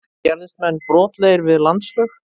Gerðust menn brotlegir við landslög?